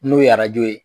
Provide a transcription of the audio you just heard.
N'o ye arajo ye